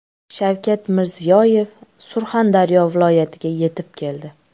Shavkat Mirziyoyev Surxondaryo viloyatiga yetib keldi.